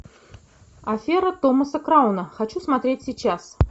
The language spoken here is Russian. афера томаса крауна хочу смотреть сейчас